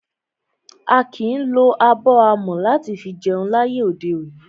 A kìí lo abọ́ amọ̀ láti fi jẹun láyé òde òní.